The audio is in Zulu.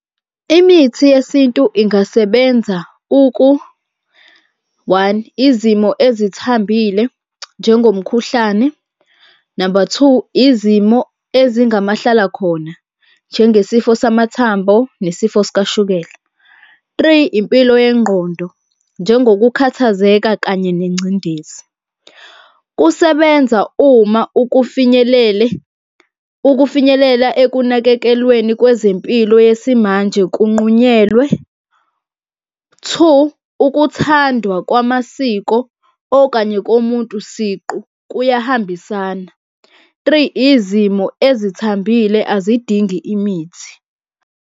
Imithi yesintu ingasebenza one, izimo ezithambile njengomkhuhlane. Number two, izimo ezingamahlalakhona, njengesifo samathambo nesifo sikashukela. Three, impilo yengqondo, njengokukhathazeka kanye nengcindezi. Kusebenza uma ukufinyelela ekunakekelweni kwezempilo yesimanje kunqunyelwe. Two, ukuthandwa kwamasiko okanye komuntu siqu kuyahambisana. Three, izimo ezithambile azidingi imithi.